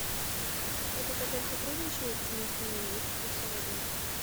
этот отель сотрудничает с местными экскурсоводами